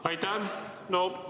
Aitäh!